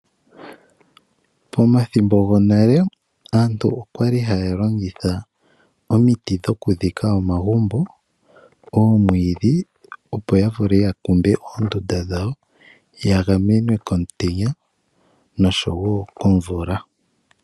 Pomathimbo gonale aantu okwali haya longitha omiti dhokudhika omagumbo, oomwiidhi opo ya vule ya kumbe oondunda dhawo, ya gamenwe komutenya noshowo komvula.